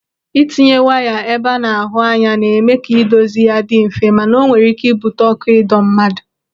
Ịtinye waya ebe a na-ahụ anya, na-eme ka ịdozi ya dị mfe, mana o nwere ị́kẹ́ ibute ọkụ ịdọ mmadụ.